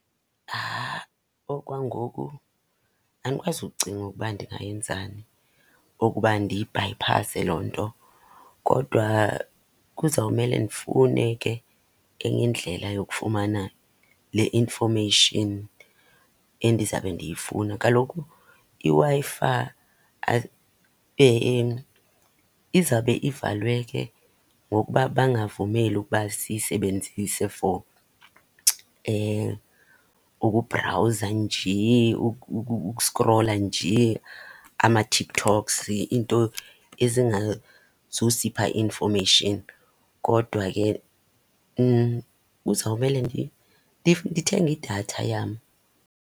Okwangoku andikwazi ukucinga ukuba ndingayenzani okuba ndiyibhayiphase loo nto. Kodwa kuzawumele ndifune ke enye indlela yokufumana le information endizabe ndiyifuna. Kaloku iWi-Fi izabe ivalwe ke ngokuba bangavumeli ukuba siyisebenzise for ukubhrawuza njee, ukusikrola njee amaTikToks, iinto ezingazusipha information. Kodwa ke kuzawumele ndithenge idatha yam.